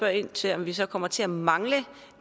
ind til om vi så kommer til at mangle